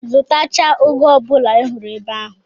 Zụtachaa ụgụ ọ bụla ị hụrụ ebe ahụ!